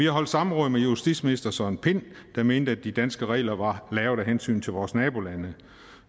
holdt samråd med justitsminister søren pind der mente at de danske regler var lavet af hensyn til vores nabolande